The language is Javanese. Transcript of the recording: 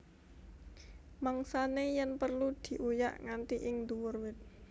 Mangsané yèn perlu diuyak nganti ing nduwur wit